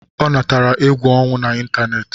Ọ natara egwu ọnwụ na ịntanetị